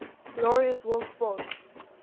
laureus world sports